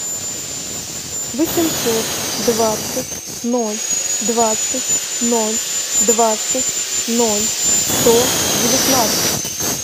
восемьсот двадцать ноль двадцать ноль двадцать ноль сто девятнадцать